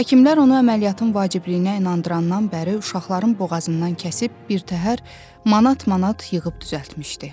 Həkimlər onu əməliyyatın vacibliyinə inandırandan bəri uşaqların boğazından kəsib birtəhər manat-manat yığıb düzəltmişdi.